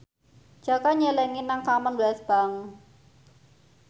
Jaka nyelengi nang Commonwealth Bank